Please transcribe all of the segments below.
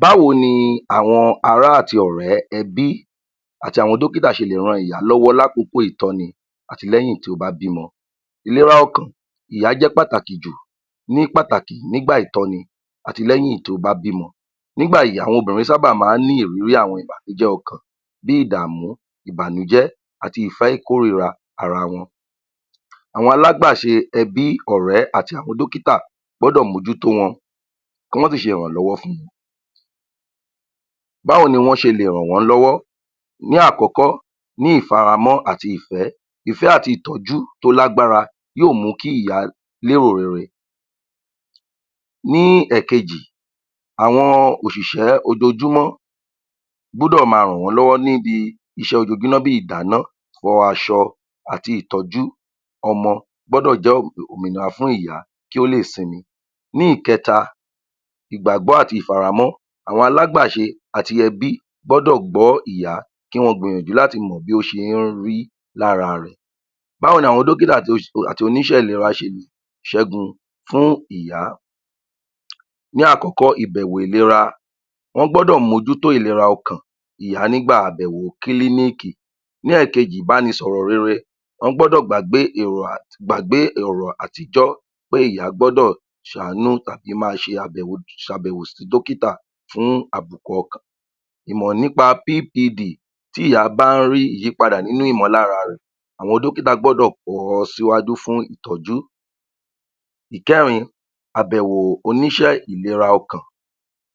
Báwo ni àwọn ará àti ọ̀rẹ́, ẹbí àti àwọn dọ́kítà ṣe lè ran ìyá lọ́wọ́ lákọ̀kọ̀ ìtọ́ni àti lẹ́yìn tí ó bá bímọ. Ìlera ọkàn ìyá jẹ́ pàtàkì jù ní pàtàkì nígbà ìtọ́ni àti lẹ́yìn tí o bá bímọ. Nígbà yìí àwọn obìnrin sábà máa ní ìrírí àwọn ìbànújẹ́ ọkàn bí ìdàmú, ìbànújẹ́, àti ìfẹ́ ìkórìíra ara wọn. Àwọn alágbàṣe ẹbí, ọ̀rẹ́ àti àwọn dọ́kítà gbọ́dọ̀ mójú tó wọn kí wọn sì ṣe ìrànlọ́wọ́ fún un. Báwo ní wọ́n ṣe lè ràn wọ́n lọ́wọ́? Ní àkọ́kọ́, ní ìfaramọ́ àti ìfẹ́, ìfẹ́ àti ìtọ́jú tó lágbára yóò mú kí ìyá ní èrò rere. Ní ẹ̀kejì, àwọn òṣìṣẹ́ ojoojúmọ́ gbọ́dọ̀ má ràn wọ́n lọ́wọ́ níbi iṣẹ́ ojoojúmọ́ bí ìdáná, fọ aṣọ àti ìtọ́jú ọmọ gbọ́dọ̀ jẹ́ òmìnira fún ìyá kí ó lè simi. Ní ìkẹta, ìgbàgbọ́ àti ìfaramọ́. Àwọn alágbàṣe àti ẹbí gbọ́dọ̀ gbọ́ ìyá kí wọn gbìyànjú láti mọ bí ó ṣe ń rí lára rẹ̀. Báwo ní àwọn dọ́kítà àti oníṣẹ́ ìlera ṣẹ́gun fún ìyá. Ní àkọ́kọ́ ìbẹ̀wò ìlera. Wọn gbọ́dọ̀ mójú tó ìlera ọ̀kàn ìyá nígbà àbẹ̀wò kílíníìkì. Ní ẹ̀kejì, ìbánisọ̀rọ̀ rere. wọ́n gbọ́dọ̀ gbàgbé èrò, gbàgbé èrò àtijọ́ pé ìyá gbọ́dọ̀ ṣàánú tàbí máa ṣe àbẹ̀wò sí dọ́kítà fún àbùkù ọ̀kàn. Ìmọ̀ nípa PPD tí ìyá bá ń rí ìyípadà nínú ìmọ́lára rẹ̀ àwọn dọ́kítà gbọ́dọ̀ kọ̀ ọ́ síwájú fún ìtọ́jú. Ìkẹrin, Àbẹ̀wò oníṣẹ́ ìlera ọ̀kàn.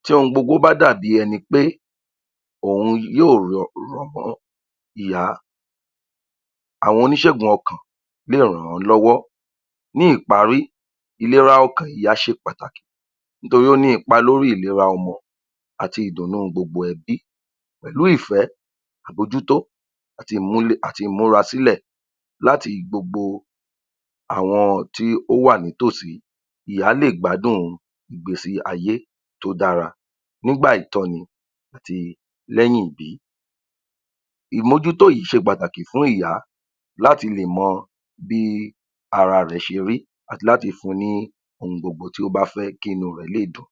Tí ohun gbogbo bá dàbi ẹnipé òun yóò um ìyá. Àwọn oníṣẹ̀gùn ọ̀kàn lè ràn án lọ́wọ́. Ní ìparí, ìlera ọ̀kàn ìyá ṣe pàtàkì nítorí ó ní ipa lórí ìlera ọmọ àti ìdùnnú gbogbo ẹbí pẹ̀lú ìfẹ́, àbójútó àti imúrá sílẹ̀ láti gbogbo àwọn tí ó wà ní tò sí. Ìyá lè gbádùn ìgbésí ayé tó dára nígbà ìtọ́ni àti lẹ́yìn ìbí. Ìmójútó yìí ṣe pàtàkì fún ìyá láti lè mọ bí ara rẹ̀ ṣe rí àti láti fún ni ohun gbogbo tí ó bá fẹ́, kí inú rẹ̀ lè dùn.